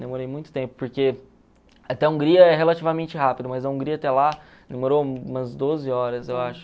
Demorei muito tempo, porque até Hungria é relativamente rápido, mas a Hungria até lá demorou umas doze horas, eu acho.